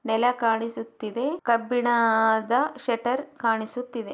ನೆಲ ಕಾಣಿಸ್ತಾ ಇದೆ ಕಬ್ಬಿಣದ ಶೆಟರ್‌ ಕಾಣಿಸುತ್ತಾ ಇದೆ.